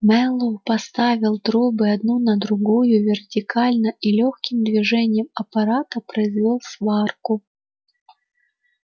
мэллоу поставил трубы одну на другую вертикально и лёгким движением аппарата произвёл сварку